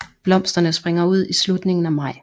Blomsterne springer ud i slutningen af maj